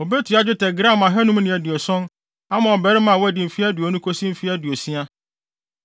obetua dwetɛ gram ahannum ne aduoson (570) ama ɔbarima a wadi mfe aduonu kosi mfe aduosia,